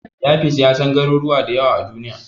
Yafiz ya san garuruwa da yawa a Duniya.